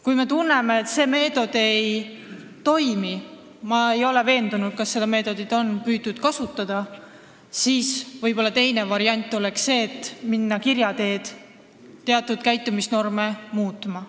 Kui me tunneme, et see meetod ei toimi – ma ei ole veendunud, kas seda meetodit on püütud kasutada –, siis teine variant oleks võib-olla see, et minna kirja teel teatud käitumisnorme muutma.